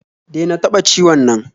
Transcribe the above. Dena taɓa ciwon nan